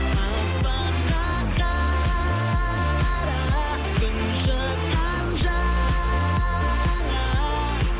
аспанға қара күн шыққан жаңа